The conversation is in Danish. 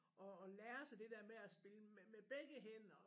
At at lære sig det der med at spille med med begge hænder